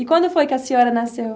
E quando foi que a senhora nasceu?